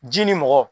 Ji ni mɔgɔ